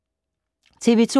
TV 2